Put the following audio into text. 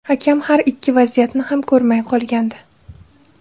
Hakam har ikki vaziyatni ham ko‘rmay qolgandi.